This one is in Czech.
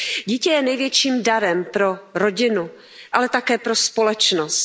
Dítě je největším darem pro rodinu, ale také pro společnost.